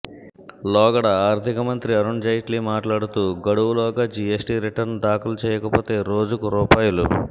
లోగడ ఆర్థికమంత్రి అరుణ్ జైట్లీ మాట్లాడుతూ గడువులోగా జీఎస్టీ రిటర్న్ దాఖలు చేయకపోతే రోజుకు రూ